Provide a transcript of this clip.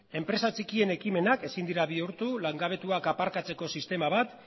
enpresa txikienen ekimenak ezin dira bihurtu langabetuak aparkatzeko sistema bat